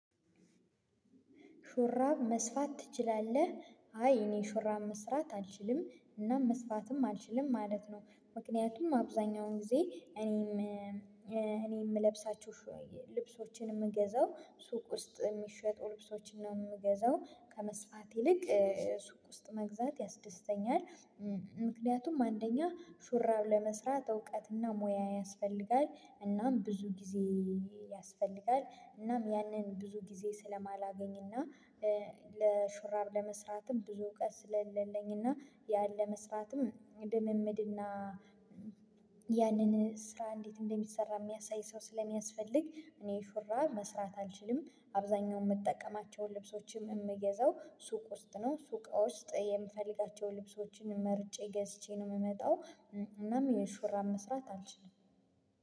ሹራብ መስፋት ትችላለህ አይ እኔ ሹራብ መስራት አልችልም እና መስፋትም አልችልም ማለት ነው ምክንያቱም አብዛኛውን ጊዜ እኔም እኔ የምለብሳቸዉን ልብሶቼን የምገዛው ሱቅ ውስጥ የሚሸጡ ልብሶችን ነው የምገዛው ከመስፋት ይልቅ ሱቅ ውስጥ መግዛት ያስደስተኛል ምክንያቱም አንደኛ ሹራብ ለመስራት እውቀትና ሙያ ያስፈልጋል እናም ብዙ ጊዜ ያስፈልጋል እናም ያንን ብዙ ጊዜ ስለማላገኝና ለሹራብ ለመስራትም ብዙ እውቀት ስለሌለኝና ያን ለመስራትም ልምምድና ያንን ስራ እንዴት እንደሚሰራ የሚያሳይ ሰው ስለሚያስፈልግ እኔ ሹራብ መስፋት አልችልም አብዛኛው የምጠቀማቸውን ልብሶቼን የምገዛው ሱቅ ውስጥ ነው ሱቅ ውስጥ የምፈልጋቸውን ልብሶቼን መርጬ ገዝቼ ነው የምመጣው። እናም ሹራብ መስራት አልችልም።